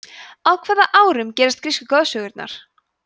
á hvaða árum gerast grísku goðsögurnar